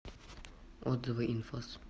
отзывы инфос